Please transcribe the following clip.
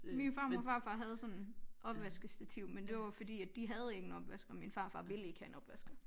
Min farmor og farfar havde sådan opvaskestativ men det var fordi at de havde ingen opvasker min farfar ville ikke have en opvasker